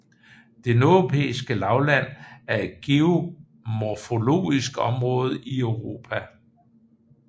Det Nordeuropæiske Lavland er et geomorfologisk område i Europa